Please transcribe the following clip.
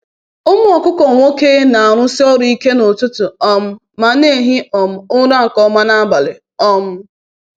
“Ụmụ okuko nwoke na-arụsi ọrụ ike n’ụtụtụ um ma na-ehi um ụra nke ọma n’abalị.” um